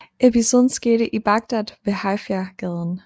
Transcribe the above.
Episoden skete i Baghdad ved Haifa gaden